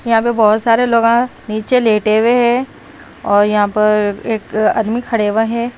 यहां पे बहोत सारे लोगां नीचे लेटे हुआ हैं और यहां पर एक आदमी खड़े हुआं है।